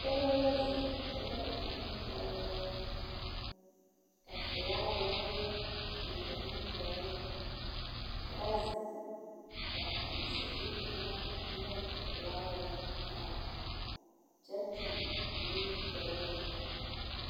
Dɔbɔ la zeŋ dɔba ane pɔɔbɔ.ka felaaware a biŋ ba nimitɔɔreŋ. Ka ba zeŋ ka a nasabie kaŋa nyɔge a felaaware a taa kyɛ toŋ nuuri tooro.